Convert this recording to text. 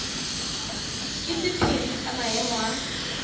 ke sephiri sa maemo a